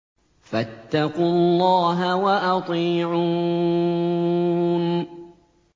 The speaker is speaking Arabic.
فَاتَّقُوا اللَّهَ وَأَطِيعُونِ